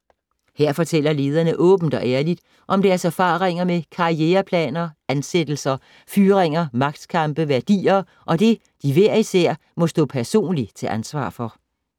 Her fortæller lederne åbent og ærligt om deres erfaringer med karriereplaner, ansættelser, fyringer, magtkampe, værdier og det de hver især må stå personligt til ansvar for.